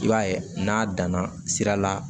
I b'a ye n'a danna sira la